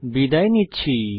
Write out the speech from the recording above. বিদায় নিচ্ছি